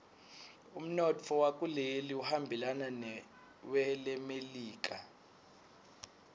umnotfo wakuleli uhambelana newelemelika